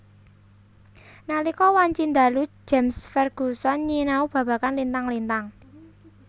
Nalika wanci dalu James Ferguson nyinau babagan lintang lintang